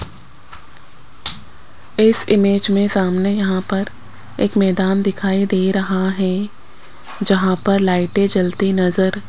इस इमेज में सामने यहां पर एक मैदान दिखाई दे रहा है जहां पर लाइटें जलती नजर --